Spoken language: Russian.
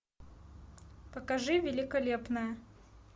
покажи великолепная